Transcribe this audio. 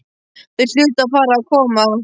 Þau hlutu að fara að koma.